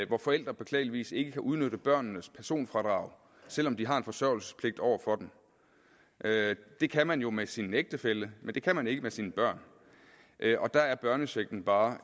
hvor forældre beklageligvis ikke kan udnytte børnenes personfradrag selv om de har en forsørgelsespligt over for dem det kan man jo gøre med sin ægtefælle men det kan man ikke med sine børn og der er børnechecken bare